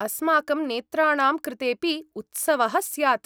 अस्माकं नेत्राणां कृतेऽपि उत्सवः स्यात्।